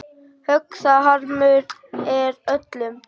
Högg það harmur er öllum.